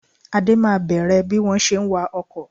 Ade máa bẹ̀rẹ̀ bí wọ́n ṣe ń wá ọkọ